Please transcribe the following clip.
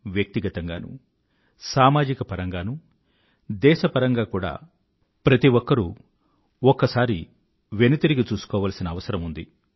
వ్యక్తిగతంగానూ సామాజికపరంగానూ దేశపరంగా కూడా ప్రతి ఒక్కరూ ఒక్కసారి వెనుతిరిగి చూసుకోవాల్సిన అవసరం ఉంది